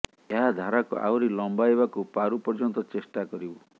ଏହା ଧାରାକୁ ଆହୁରି ଲମ୍ବାଇବାକୁ ପାରୁ ପର୍ଯ୍ୟନ୍ତ ଚେଷ୍ଟା କରିବୁ